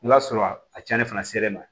I b'a sɔrɔ a cɛnni fana selen ma